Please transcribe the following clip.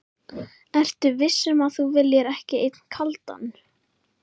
Ertu viss um að þú viljir ekki einn kaldan?